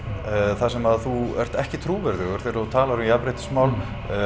þar sem þú ert ekki trúverðugur þegar þú talar um jafnréttismál